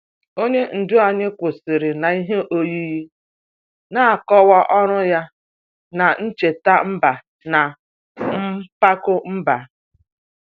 Onye ndu anyị kwụsịrị n'ihe oyiyi, na-akọwa ọrụ ya n'icheta mba na mpako mba.